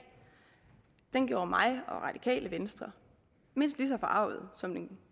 den sag gjorde mig og radikale venstre mindst lige så forargede som den